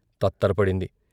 తత్తర పడింది.